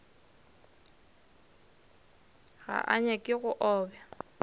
ga a nyake go obja